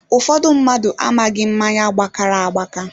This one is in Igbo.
Ụfọdụ mmadụ amaghị mmáñyá gbakara agbaka